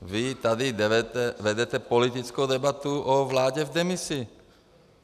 Vy tady vedete politickou debatu o vládě v demisi.